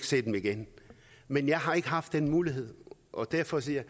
se dem igen men jeg har ikke haft den mulighed og derfor siger